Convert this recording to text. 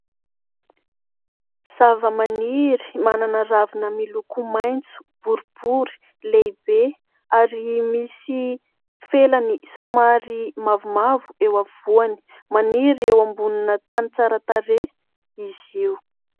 Zavamaniry manana ravina miloko maitso, boribory, lehibe ary misy felany somary mavomavo eo afovoany; maniry eo ambonina tany tsara tarehy izy io.